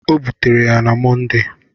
O butere ya na Mọnde.